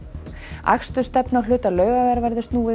akstursstefnu á hluta Laugavegar verður snúið